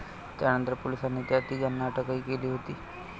त्यानंतर पोलिसांनी या तिघांना अटकही केली होती.